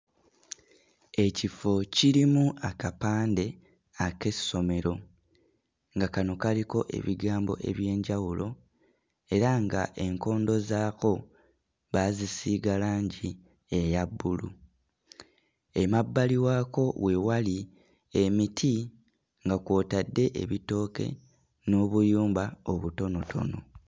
Ekifo kirimu akapande ak'essomero nga kano kaliko ebigambo eby'enjawulo era ng'enkondo zaako baazisiiga langi eya bbulu. Emabbali waako we wali emiti nga kw'otadde ebitooke n'obuyumba obutonotono.